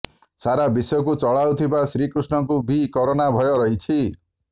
ସାରା ବିଶ୍ୱକୁ ଚଳାଉଥିବା ଶ୍ରୀକୃଷ୍ଣଙ୍କୁ ବି କରୋନା ଭୟ ରହିଛି